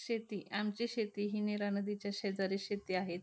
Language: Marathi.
शेती आमची शेती ही नीरा नदीच्या शेजारी शेती आहे.